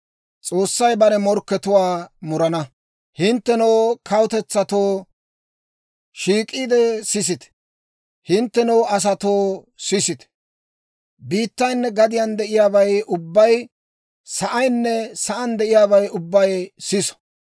Hinttenoo, kawutetsatto, shiik'iide sisite! Hinttenoo asatoo sisite! Biittaynne gadiyaan de'iyaabay ubbay, sa'aynne sa'aan de'iyaabay ubbay siso!